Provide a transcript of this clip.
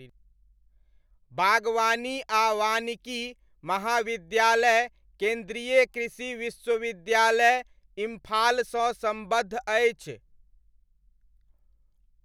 बागवानी आ वानिकी महाविद्यालय केन्द्रीय कृषि विश्वविद्यालय, इम्फालसँ सम्बद्ध अछि।